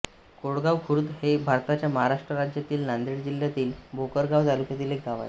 कोळगाव खुर्द हे भारताच्या महाराष्ट्र राज्यातील नांदेड जिल्ह्यातील भोकर गाव तालुक्यातील एक गाव आहे